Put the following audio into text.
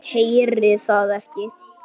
Heyri það ekki.